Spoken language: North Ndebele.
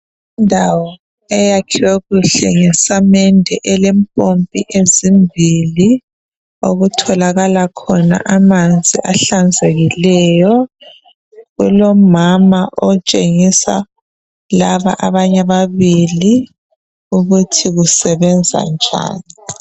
Kulendawo eyakhiwe kuhle ngesamende elempompi ezimbili okutholakala khona amanzi ahlanzekileyo kulomama otshengisa laba abanye ababili ukuthi kusebenza njani.